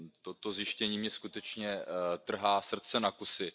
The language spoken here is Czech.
To zjištění mně skutečně trhá srdce na kusy.